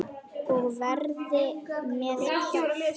Og verið með kjaft.